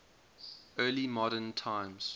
early modern times